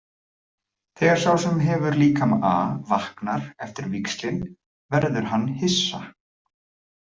Þegar sá sem hefur líkama A vaknar eftir víxlin verður hann hissa.